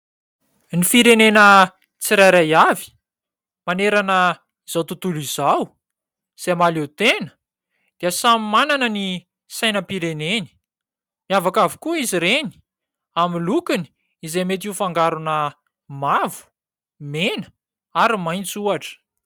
Ny firenena tsirairay avy manerana izao tontolo izao izay mahaleo-tena dia samy manana ny sainam-pireneny. Miavaka avokoa izy ireny amin'ny lokony izay mety ho fangarona mavo, mena ary maitso ohatra.